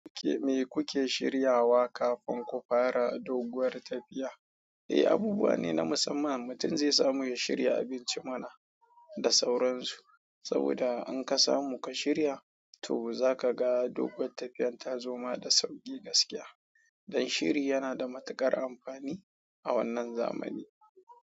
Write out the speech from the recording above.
Me kuke shiryawa kafin ku fara doguwar tafiya? Eh, abubuwa ne na musamman, mutum zai samu ya shirya abinci mana da sauransu, saboda in ka samu ka shirya to zaka ga doguwar tafiyar ta zoma da sauƙi gaskiya. Ɗan shiri yana da matuƙar amfani a wannan zamani.